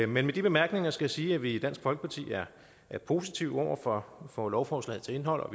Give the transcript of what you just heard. men med de bemærkninger skal jeg sige at vi i dansk folkeparti er positive over for for lovforslagets indhold og